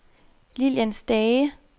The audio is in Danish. Lillian Stage